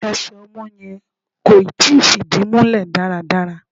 Ẹsẹ̀ ọmọ yẹn kò ì tí fìdí múlẹ̀ dáradára.